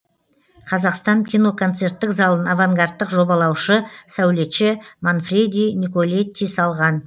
қазақстан киноконцерттік залын авангардтық жобалаушы сәулетші манфреди николетти салған